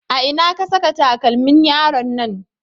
A ina ka saka takalmin yaron nan?